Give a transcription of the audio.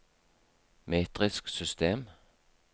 metrisk system